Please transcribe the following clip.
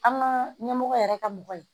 An ka ɲɛmɔgɔ yɛrɛ ka mɔgɔ ye